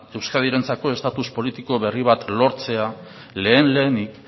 euskadirentzako estatus politiko berri bat lortzea lehen lehenik